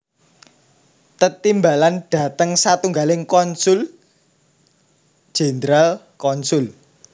Tetimbalan dhateng satunggaling konsul jenderal/konsul